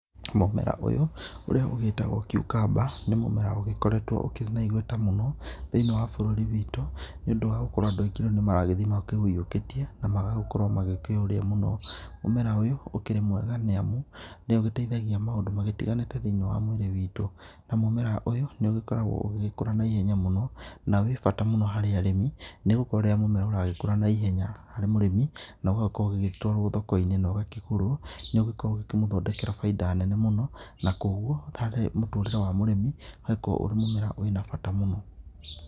Mũmera ũyũ ũrĩa ũgĩtagwo cucumber nĩ mũmera ũgĩkoretwo ũrĩ na igweta mũno thĩinĩ wa bũrũri witũ, nĩũndũ wa gũkorwo andũ aingĩ nĩmarathie maũiyũkĩtie na magakorwo makĩũrĩa mũno. Mũmera ũyũ ũkĩrĩ mwega nĩ amu nĩũgĩteithagia maũndũ matiganĩte thĩinĩ wa mwĩrĩ witũ, na mũmera ũyũ nĩũkoragwo ũgĩkũra na ihenya mũno na wĩ bata mũno harĩ arĩmi nĩgũkorwo rĩrĩa mũmera ũyũ ũragĩkũra naihenya harĩ mũrĩmi, na ũgagĩkorwo ũgĩtwarwo thokoinĩ na ũgakĩgũrwo na ũkamũthondekera baida nene mũno. Na koguo harĩ mũtũrĩre wa mũrĩmi ũgagĩkorwo ũrĩ mũmera ũrĩ bata mũno.